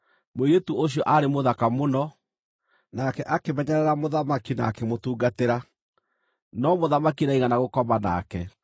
Mũirĩtu ũcio aarĩ mũthaka mũno; nake akĩmenyerera mũthamaki na akĩmũtungatĩra, no mũthamaki ndaigana gũkoma nake.